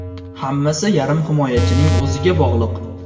Hammasi yarim himoyachining o‘ziga bog‘liq.